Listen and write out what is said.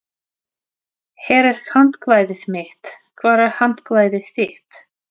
Hér er handklæðið mitt. Hvar er handklæðið þitt?